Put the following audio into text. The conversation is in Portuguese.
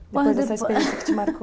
Depois dessa experiência que te marcou.